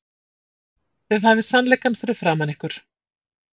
Þið hafið sannleikann fyrir framan ykkur.